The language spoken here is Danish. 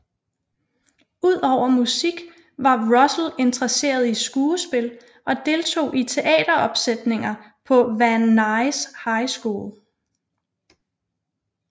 Ud over musik var Russell interesseret i skuespil og deltog i teateropsætninger på Van Nuys High School